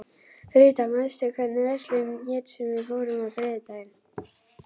Ríta, manstu hvað verslunin hét sem við fórum í á þriðjudaginn?